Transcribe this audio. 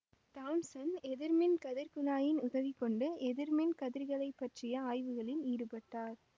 Thomson எதிர்மின் கதிர்க்குழாயின் உதவி கொண்டு எதிர் மின் கதிர்களைப் பற்றிய ஆய்வுகளில் ஈடுபட்டார்